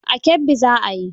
A Kebbi za a yi.